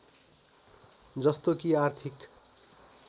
जस्तो कि आर्थिक